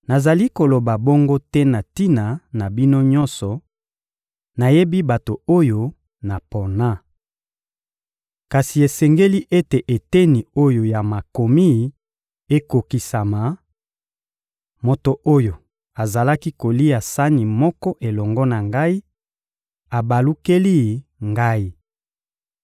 Nazali koloba bongo te na tina na bino nyonso; nayebi bato oyo napona. Kasi esengeli ete eteni oyo ya Makomi ekokisama: «Moto oyo azalaki kolia sani moko elongo na ngai abalukeli ngai!»